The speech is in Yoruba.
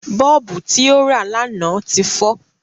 Bọ́ọ̀bù tí ó rà lánàá ti fọ